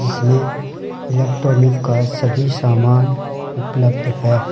इसमें इलेक्ट्रॉनिक का सभी सामान उपलब्ध है।